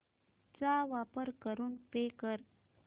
चा वापर करून पे कर